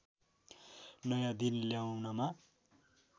नयाँ दिन ल्याउनमा